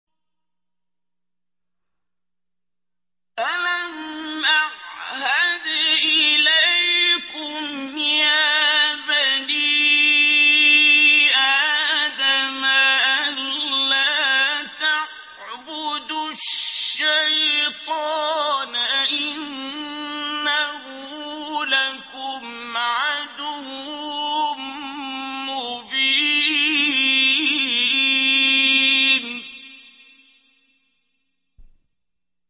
۞ أَلَمْ أَعْهَدْ إِلَيْكُمْ يَا بَنِي آدَمَ أَن لَّا تَعْبُدُوا الشَّيْطَانَ ۖ إِنَّهُ لَكُمْ عَدُوٌّ مُّبِينٌ